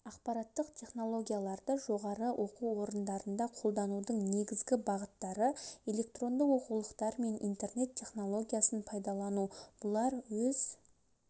ақпараттық технологияларды жоғары оқу орындарында қолданудың негізгі бағыттары электронды оқулықтар мен интернет технологиясын пайдалану бұлар өз